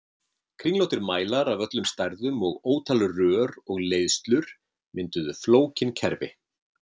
Kringlóttir mælar af öllum stærðum og ótal rör og leiðslur mynduðu flókin kerfi.